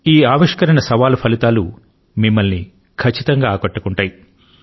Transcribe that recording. ఈ ఆవిష్కరణ సవాలు ఫలితాలు మిమ్మల్ని ఖచ్చితంగా ఆకట్టుకుంటాయి